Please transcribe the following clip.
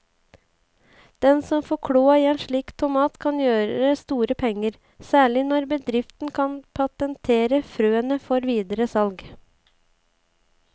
Den som får kloa i en slik tomat kan gjøre store penger, særlig når bedriften kan patentere frøene før videre salg.